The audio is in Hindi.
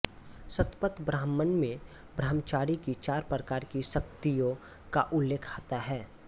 शतपथ ब्राह्मण में ब्रह्मचारी की चार प्रकार की शक्तियों का उल्लेख आता है